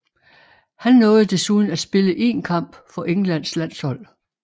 Han nåede desuden at spille én kamp for Englands landshold